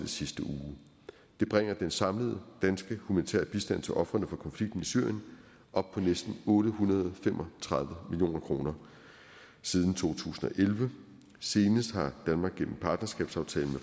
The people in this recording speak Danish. sidste uge det bringer den samlede danske humanitære bistand til ofrene for konflikten i syrien op på næsten otte hundrede og fem og tredive million kroner siden to tusind og elleve senest har danmark gennem partnerskabsaftalen